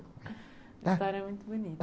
A história é muito bonita.